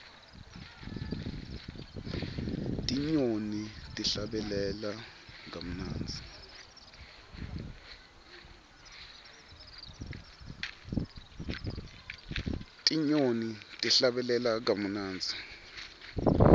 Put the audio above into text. tinyoni tihlabelela kamunandzi